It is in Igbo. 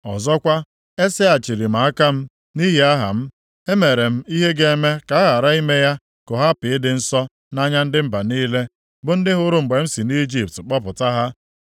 Ọzọkwa, eseghachiri m aka m, nʼihi aha m, e mere m ihe ga-eme ka a ghara ime ya ka ọ hapụ ịdị nsọ nʼanya ndị mba niile, bụ ndị hụrụ mgbe m si Ijipt kpọpụta ha